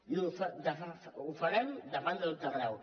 i ho farem davant de tot arreu